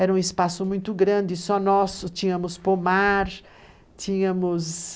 Era um espaço muito grande, só nosso, tínhamos pomar, tínhamos...